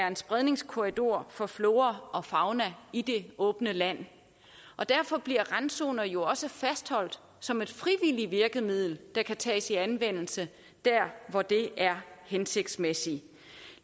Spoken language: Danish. en spredningskorridor for flora og fauna i det åbne land og derfor bliver randzoner jo også fastholdt som et frivilligt virkemiddel der kan tages i anvendelse der hvor det er hensigtsmæssigt